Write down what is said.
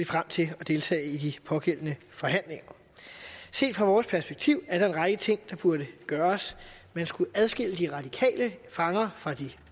frem til at deltage i de pågældende forhandlinger set fra vores perspektiv er der en række ting der burde gøres man skulle adskille de radikale fanger fra de